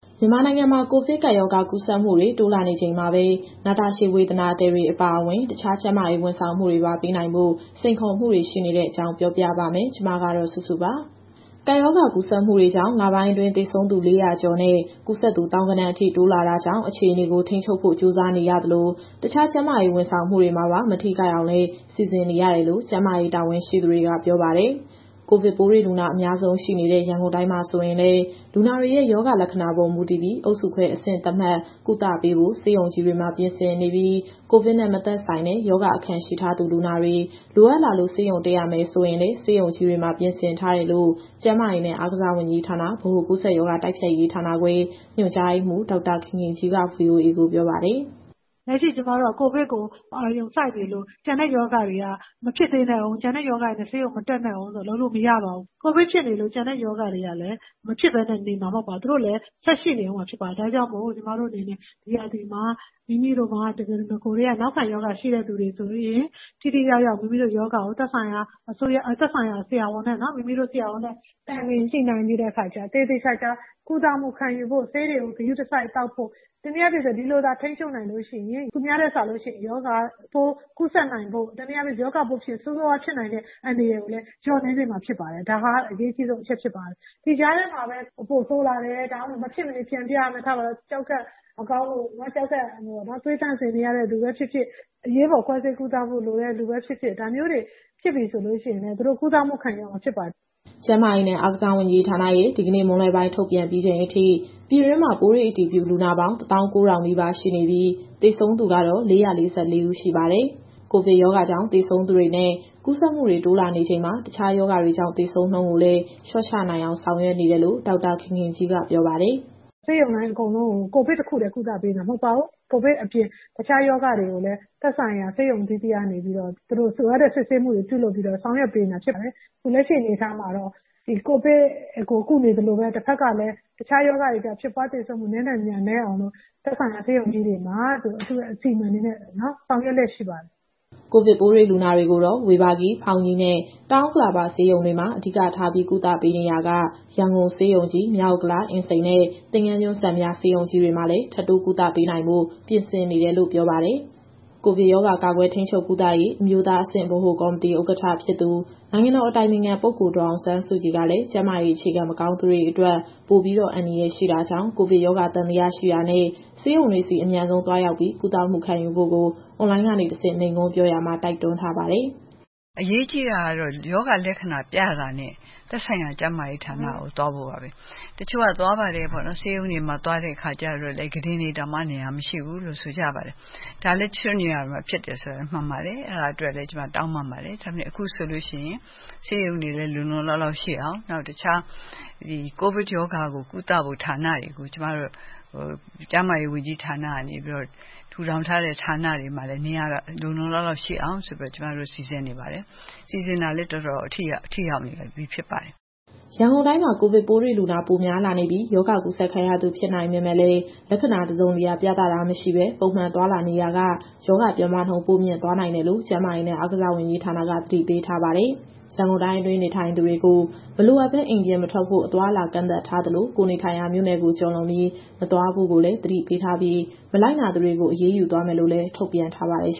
မြန်မာနိုင်ငံမှာ ကိုဗစ်ကပ်ရောဂါ ကူးစက်မှုတွေ တိုးလာနေချိန်မှာပဲ နာတာရှည်ဝေဒနာသည်တွေ အပါအဝင် တခြားကျန်းမာရေး ဝန်ဆောင်မှုတွေပါ ပေးနိုင်ဖို့ စိန်ခေါ်မှုတွေ ရှိနေတဲ့အကြောင်း ပြောပြပါမယ်။ ဒီသတင်းကို ဗွီအိုအေမြန်မာပိုင်း သတင်းထောက်စုစုက တင်ဆက်ပေးမှာပါ။ ကပ်ရောဂါကူးစက်မှုတွေကြောင့် လပိုင်းအတွင်း သေဆုံးသူ ၄၀၀ ကျော်နဲ့ ကူးစက်သူ သောင်းဂဏန်းအထိ တိုးလာတာကြောင့် အခြေအနေကို ထိန်းချုပ်ဖို့ ကြိုးစားနေရသလို၊ တခြားကျန်းမာရေးဝန်ဆောင်မှုတွေမှာပါ မထိခိုက်အောင်လည်း စီစဉ်နေရတယ်လို့ ကျန်းမာရေး တာဝန်ရှိသူတွေက ပြောပါတယ်။ ကိုဗစ်ပိုးတွေ့လူနာ အများဆုံးရှိနေတဲ့ ရန်ကုန်တိုင်းမှာ ဆိုရင်လည်း လူနာတွေရဲ့ရောဂါလက္ခဏာပေါ် မူတည်ပြီး အုပ်စုခွဲအဆင့်သတ်မှတ် ကုသမှုပေးဖို့ ဆေးရုံကြီးတွေမှာ ပြင်ဆင်နေပြီး၊ ကိုဗစ်နဲ့မသက်ဆိုင်တဲ့ ရောဂါအခံရှိထားသူလူနာတွေ လိုအပ်လာလို့ ဆေးရုံတက်ရမယ်ဆိုရင်လည်း ဆေးရုံကြီးတွေမှာ ပြင်ဆင်ထားတယ်လို့ ကျန်းမာရေးနဲ့ အားကစားဝန်ကြီးဌာန၊ ဗဟိုကူးစက်ရောဂါ တိုက်ဖျက်ရေးဌာနခွဲ ညွှန်ကြားရေးမှူး ဒေါက်တာခင်ခင်ကြီးက VOA ကိုပြောပါတယ်။ “လက်ရှိကျမတို့က ကိုဗစ်ကို အာရုံစိုက်နေလို့ ကျန်တဲ့ရောဂါတွေက မဖြစ်သေးနဲ့ဦး၊ ကျန်တဲ့ရောဂါတွေနဲ့ ဆေးရုံမတက်နဲ့ဦးဆိုပြီး လုပ်လို့မရပါဘူး။ ကိုဗစ်ဖြစ်နေလို့ ကျန်တဲ့ရောဂါတွေကလည်း မဖြစ်ပဲနေမှာမဟုတ်ပါဘူး။ သူတို့လည်း ဆက်ရှိနေဦးမှာဖြစ်ပါတယ်။ ဒါကြောင့်မို့ ကျမတို့အနေနဲ့ ဒီရာသီမှာ မိမိတို့မှာနဂိုကတည်းက နောက်ခံရောဂါရှိတဲ့သူဆိုရင် ထိထိရောက်ရောက် မိမိတို့ရောဂါကို သက်ဆိုင်ရာဆရာဝန်နဲ့ တိုင်ပင်ညှိနှိုင်းပြီး သေသေချာချာကုသမှုခံယူဖို့၊ ဆေးတွေကို ဂရုတစိုက်သောက်ဖို့၊ တနည်းအားဖြင့်ပြောရရင် ဒီလိုသာထိန်းချုပ်နိုင်လို့ရှိရင် သူများထက်စာလို့ရှိရင် ရောဂါပိုးကူးစက်နိုင်ဖို့၊ ရောဂါဖြစ်ရင်လည်း ဆိုးဆိုးရွားရွားဖြစ်နိုင်တဲ့ အန္တရာယ်ကိုလည်း လျော့နည်းစေမှာဖြစ်ပါတယ်။ ဒါဟာ အရေးကြီးဆုံးအချက် ဖြစ်ပါတယ်။ ဒီကြားထဲမှာပဲ ပိုဆိုးလာတယ်၊ မဖြစ်မနေပြန်ပြရမယ်၊ ထားပါတော့ ကျောက်ကပ်မကောင်းလို့ သွေးသန့်စင်နေရတဲ့သူပဲဖြစ်ဖြစ်၊ အရေးပေါ်ခွဲစိတ်ကုသဖို့ လိုတဲ့သူပဲဖြစ်ဖြစ် ဒါမျိုးတွေဖြစ်ပြီဆိုရင်လည်း သူတို့ကုသမှုခံယူရမှာဖြစ်ပါတယ်။” ကျန်းမာရေးနဲ့ အားကစားဝန်ကြီးဌာနရဲ့ ဒီကနေ့မွန်းလွဲပိုင်း ထုတ်ပြန်ပြီးချိန်အထိ ပြည်တွင်းမှာပိုးတွေ့အတည်ပြုလူနာပေါင်း ၁၉,၀၀၀ နီးပါးရှိနေပြီး၊ သေဆုံးသူကတော့ ၄၄၄ ဦးရှိပါတယ်။ ကိုဗစ်ရောဂါကြောင့် သေဆုံးသူတွေနဲ့ ကူးစက်မှုတွေ တိုးလာနေချိန်မှာ တခြားရောဂါတွေကြောင့် သေဆုံးနှုန်းကိုလည်း လျှော့ချနိုင်အောင် ဆောင်ရွက်နေတယ်လို့ ဒေါက်တာခင်ခင်ကြီးကပြောပါတယ်။ “ဆေးရုံတိုင်းအကုန်လုံး ကိုဗစ်တခုတည်း ကုသပေးနေတာ မဟုတ်ပါဘူး။ ကိုဗစ်အပြင် တခြားရောဂါတွေကိုလည်း သက်ဆိုင်ရာဆေးရုံအသီးသီးကနေပြီးတော့ လိုအပ်တဲ့စစ်ဆေးမှုတွေ ပြုလုပ်ပေးပြီးတော့ ဆောင်ရွက်ပေးနေတာဖြစ်ပါတယ်။ အခုလက်ရှိအနေအထားမှတော့ ဒီကိုဗစ်ကိုကုနေသလိုပဲ၊ တဘက်ကလည်း တခြားရောဂါတွေကြောင့် ဖြစ်ပွားသေဆုံးမှုနည်းနိုင်သမျှ နည်းအောင်လို့ သက်ဆိုင်ရာဆေးရုံကြီးတွေမှာ အစီအမံတွေနဲ့ ဆောင်ရွက်လျက်ရှိပါတယ်။” ကိုဗစ်ပိုးတွေ့လူနာတွေကိုတော့ ဝေဘာဂီ၊ ဖောင်ကြီးနဲ့ တောင်ဥက္ကလာပဆေးရုံတွေမှာ အဓိကထားပြီး ကုသပေးနေရာက ရန်ကုန်ဆေးရုံကြီး၊ မြောက်ဥက္ကလာ၊ အင်းစိန်နဲ့ သင်္ဃန်းကျွန်း စံပြဆေးရုံကြီးတွေမှာလည်း ထပ်တိုးကုသပေးနိုင်ဖို့ ပြင်ဆင်နေတယ်လို့ ပြောပါတယ်။ ကိုဗစ်ရောဂါ ကာကွယ်၊ ထိန်းချုပ်၊ ကုသရေး အမျိုးသားအဆင့် ဗဟိုကော်မတီဥက္ကဋ္ဌဖြစ်သူ နိုင်ငံတော်အတိုင်ပင်ခံပုဂ္ဂိုလ် ဒေါ်အောင်ဆန်းစုကြည်ကလည်း ကျန်းမာရေးအခြေခံမကောင်းတဲ့သူတွေအတွက် ပိုပြီးတော့ အန္တရာယ်ရှိတာကြောင့် ကိုဗစ်ရောဂါသံသယရှိတာနဲ့ ဆေးရုံတွေဆီ အမြန်ဆုံးသွားရောက်ပြီး ကုသမှုခံယူဖို့ကို အွန်လိုင်းကနေတဆင့် မိန့်ခွန်းပြောရာမှာ တိုက်တွန်းထားပါတယ်။ “အရေးကြီးတာကတော့ ရောဂါလက္ခဏာပြတာနဲ့ သက်ဆိုင်ရာကျန်းမာရေးဌာနကို သွားဖို့ပါပဲ။ တချို့က သွားပါတယ်ပေါ့နော်။ ဆေးရုံတွေမှာ သွားတဲ့အခါကျတော့လည်း ကုတင်တွေတောင်မှ နေရာမရှိဘူးလို့ ဆိုကြပါတယ်။ ဒါလည်း တချို့နေရာတွေမှာဖြစ်တယ်ဆိုတာလည်း မှန်ပါတယ်။ အဲဒါအတွက်လည်း ကျမတောင်းပန်ပါတယ်။ ဒါပေမယ့် အခုဆိုလို့ရှိရင် ဆေးရုံတွေလည်း လုံလုံလောက်လောက်ရှိအောင်၊ နောက် တခြား ကိုဗစ်ရောဂါကိုကုသဖို့ ဌာနတွေကို ကျမတို့ ကျန်းမာရေးဝန်ကြီးဌာနကနေပြီးတော့ ထူထောင်ထားတဲ့ဌာနတွေမှာလည်း နေရာလုံလုံလောက်လောက်ရှိအောင်ဆိုပြီးတော့ ကျမတို့စီစဉ်နေပါတယ်။ စီစဉ်တာလည်း တော်တော်ထိရောက်နေပြီ ဖြစ်ပါတယ်။” ရန်ကုန်တိုင်းမှာ ကိုဗစ်ပိုးတွေ့လူနာ ပိုများလာနေပြီး၊ ရောဂါကူးစက်ခံရသူ ဖြစ်နိုင်ပေမဲ့လည်း လက္ခဏာတစုံတရာ ပြဿနာမရှိဘဲ ပုံမှန်သွားလာနေရာက ရောဂါပြန့်ပွားနှုန်း ပိုမြင့်သွားနိုင်တယ်လို့ ကျန်းမာရေးနဲ့ အားကစားဝန်ကြီးဌာနက သတိပေးထားပါတယ်။ ရန်ကုန်တိုင်းအတွင်းနေထိုင်သူတွေကို မလိုအပ်ဘဲ အိမ်ပြင်မထွက်ဖို့ အသွားအလာကန့်သတ်ထားသလို၊ ကိုယ်နေထိုင်ရာမြို့နယ်ကို ကျော်လွန်ပြီး မသွားဖို့ကိုလည်း သတိပေးထားပြီး မလိုက်နာသူတွေကို အရေးယူသွားမယ်လို့လည်း ထုတ်ပြန်ထားပါတယ်။